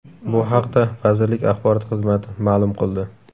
Bu haqda vazirlik axborot xizmati ma’lum qildi.